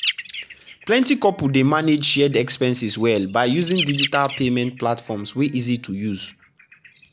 plenty couples dey manage shared expenses well by using digital payment platforms wey easy to use.